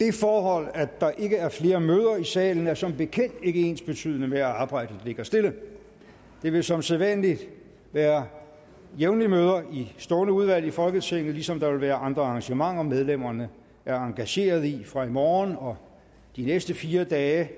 det forhold at der ikke er flere møder i salen er som bekendt ikke ensbetydende med at arbejdet ligger stille der vil som sædvanlig være jævnlige møder i stående udvalg i folketinget ligesom der vil være andre arrangementer medlemmerne er engageret i fra i morgen og de næste fire dage